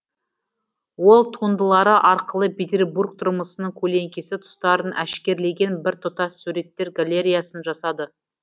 ол туындылары арқылы петербург тұрмысының көлеңкесі тұстарын әшкерелеген бір тұтас суреттер галереясын жасады